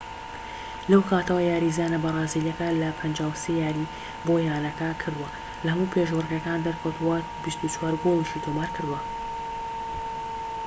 لەو کاتەوە یاریزانە بەرازیلیەکە لە 53 یاریی بۆ یانەکە کردووە لەهەموو پێشبڕکێکان دەرکەوتووە و 24 گۆڵیشی تۆمارکردووە